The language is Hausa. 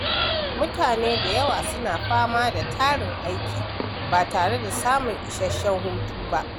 Mutane da yawa suna fama da tarin aiki ba tare da samun isasshen hutu ba.